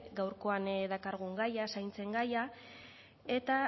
gaurkoan dakargun gaia zaintzen gaia eta